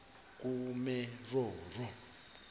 kumeromo